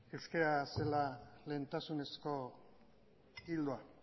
euskera zela lehentasunezko ildoa